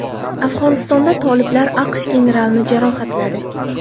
Afg‘onistonda toliblar AQSh generalini jarohatladi.